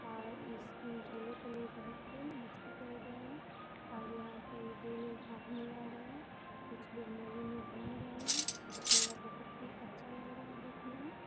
और इस झूले में लोग बैठ के मस्ती कर रहे हैं और यहाँ पे दो लोग हाथ मिला रहे हैं। कुछ लोग मेले में घूम रहे हैं। मेला बहुत ही अच्छा लग रहा है देखने में।